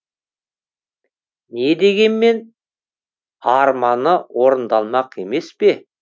не дегенмен арманы орындалмақ емес пе